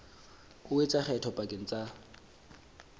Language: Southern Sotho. o etsa kgetho pakeng tsa